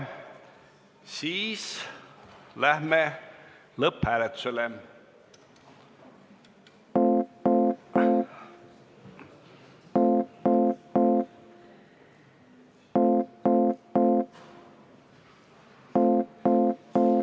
Aitäh!